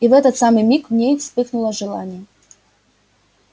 и в этот самый миг в ней вспыхнуло желание